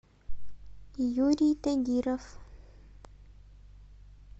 юрий тагиров